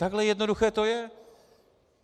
Takhle jednoduché to je.